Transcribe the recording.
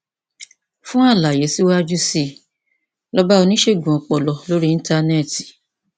fún àlàyé síwájú sí i lọ bá oníṣègùn ọpọlọ lórí íńtánẹẹtì